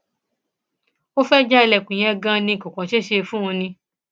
ó fẹẹ já ilẹkùn yẹn ganan ni kò kàn ṣeé ṣe fún un ni